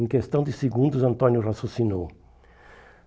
Em questão de segundos, Antônio raciocinou.